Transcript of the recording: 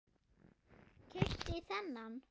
Keypti þennan.